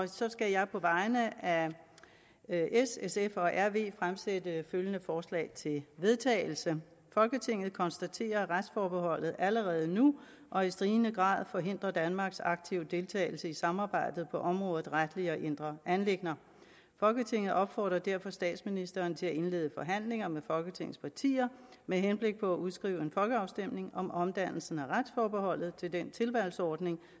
så skal jeg på vegne af s sf og rv fremsætte følgende forslag til vedtagelse folketinget konstaterer at retsforbeholdet allerede nu og i stigende grad forhindrer danmarks aktive deltagelse i samarbejdet på området retlige og indre anliggender folketinget opfordrer derfor statsministeren til at indlede forhandlinger med folketingets partier med henblik på at udskrive en folkeafstemning om omdannelsen af retsforbeholdet til den tilvalgsordning